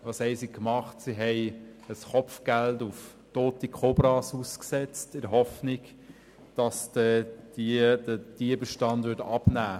Sie setzte ein Kopfgeld auf tote Kobras aus, in der Hoffnung, dass der Tierbestand dann abnimmt.